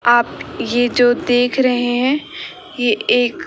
आप ये जो देख रहे हैं ये एक--